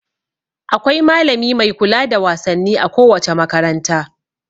Akwai malami mai kula da wasanni a kowace makaranta.